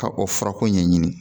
Ka o furako ɲɛɲini